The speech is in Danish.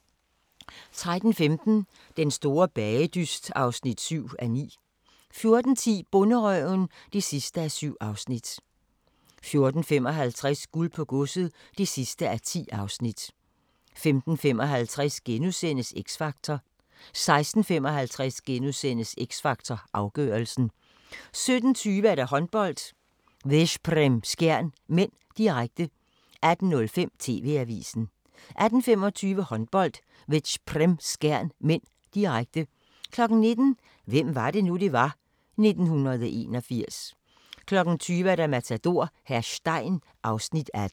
13:15: Den store bagedyst (7:9) 14:10: Bonderøven (7:7) 14:55: Guld på Godset (10:10) 15:55: X Factor * 16:55: X Factor Afgørelsen * 17:20: Håndbold: Veszprem-Skjern (m), direkte 18:05: TV-avisen 18:25: Håndbold: Veszprem-Skjern (m), direkte 19:00: Hvem var det nu, vi var – 1981 20:00: Matador - hr. Stein (Afs. 18)